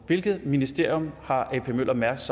minister og ap møller mærsk